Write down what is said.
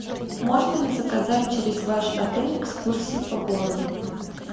можно ли заказать через ваш отель экскурсии по городу